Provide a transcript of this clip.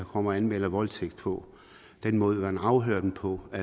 kommer og anmelder voldtægt på den måde man afhører dem på